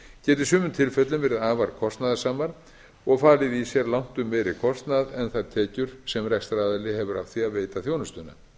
í sumum tilfellum verið afar kostnaðarsamar og falið í sér langtum meiri kostnað en þær tekjur sem rekstraraðili hefur af því að veita þjónustuna